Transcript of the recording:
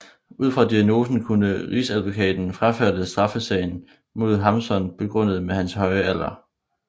Ud fra diagnosen kunne rigsadvokaten frafalde straffesagen mod Hamsun begrundet med hans høje alder